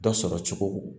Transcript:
Dɔ sɔrɔ cogo